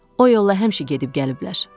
O yolla həmişə gedib gəliblər.